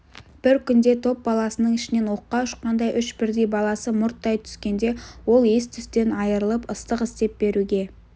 бір күнде топ баласының ішінен оққа ұшқандай үш бірдей баласы мұрттай түскенде ол ес-түстен айырылып ыстық істеп беруге